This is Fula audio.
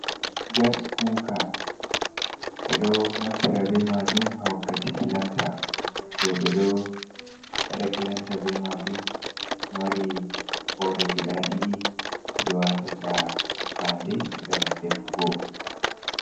Gas kuka ɓeɗo naftira be majum ha wakkati kilanta, roɓe ɗo wada kilanta be majum, ɗo mari hore guda ɗiɗi haɓe watata fande gam defugo.